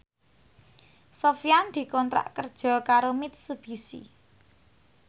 Sofyan dikontrak kerja karo Mitsubishi